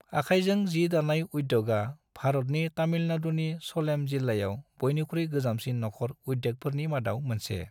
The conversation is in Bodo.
आखाइजों जि-दानाय उद्योगआ भारतनि तामिलनाडुनि सलेम जिल्लायाव बयनिख्रुइ गोजामसिन नखर उद्योगफोरनि मादाव मोनसे।